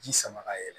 Ji sama ka yɛlɛ